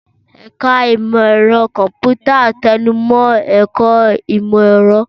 Ẹ̀ka Ìmọ̀ Ẹ̀rọ Kọ̀m̀pútà tẹnu mọ́ ẹ̀kọ́ ìmọ̀-ẹ̀rọ.